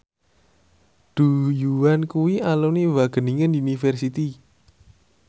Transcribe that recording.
Du Juan kuwi alumni Wageningen University